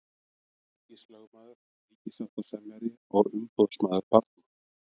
Ríkislögmaður, ríkissáttasemjari og umboðsmaður barna.